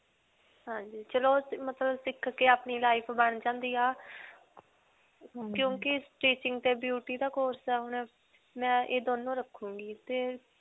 ਹਾਂਜੀ. ਚਲੋ ਸਿਖ ਕੇ ਆਪਣੀ life ਬਣ ਜਾਂਦੀ ਹੈ ਕਿਉਂਕਿ stitching ਤੇ beauty ਦਾ course ਮੈਂ ਇਹ ਦੋਨੋਂ ਰਖੂਂਗੀ. ਤੇ